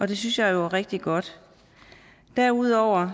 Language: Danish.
det synes jeg jo er rigtig godt derudover